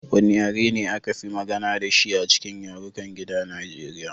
Wane yare ne aka fi magana da shi a cikin yarukan gida na Nigeriya?